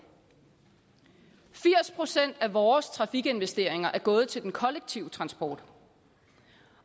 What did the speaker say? firs procent af vores trafikinvesteringer er gået til den kollektive transport